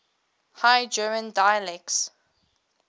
high german dialects